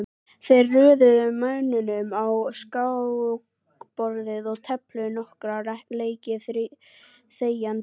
Þeir röðuðu mönnunum á skákborðið og tefldu nokkra leiki þegjandi.